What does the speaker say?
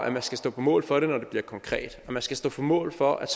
at man skal stå på mål for det når det bliver konkret og man skal stå på mål for at